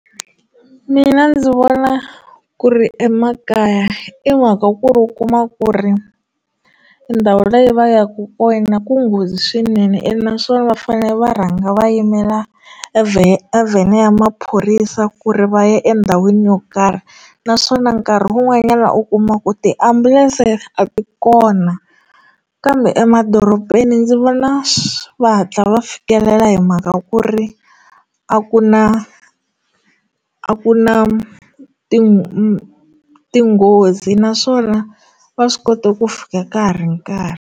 Mina ndzi vona ku ri emakaya i mhaka ku ri u kuma ku ri ndhawu leyi va yaka kona ku nghozi swinene ene naswona va fane va rhanga va yimela evhe a vhene ya maphorisa ku ri va ya endhawini yo karhi naswona nkarhi wun'wanyana u kuma ku tiambulense a ti kona kambe emadorobeni ndzi vona va hatla va fikelela hi mhaka ku ri a ku na a ku na ting tinghozi naswona va swi kota ku fika ka ha ri nkarhi.